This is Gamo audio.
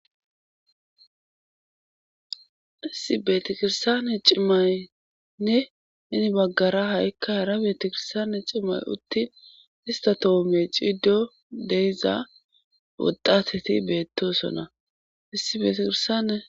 issi beetakirsaane cimmaynne nini baggara ha7ikka hara beetakirsane cimmay uttin ista toome ciido deyiza wodateti beettosona issi betikirsane